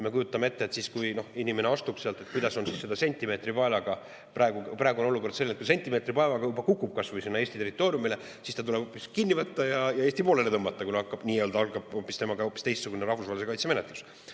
Me kujutame ette, et kui inimene astub sealt, kui seda sentimeetripaelaga – praegu on olukord selline, et kui ta kas või kukub Eesti territooriumile, siis ta tuleb kinni võtta ja Eesti poolele tõmmata, kuna tema puhul algab hoopis teistsugune, rahvusvahelise kaitse menetlus.